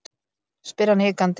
spyr hann hikandi.